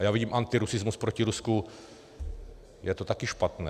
A já vidím antirusismus proti Rusku, je to taky špatné.